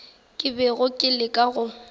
ke bego ke leka go